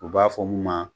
U b'a fɔ mun ma